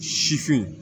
Sifin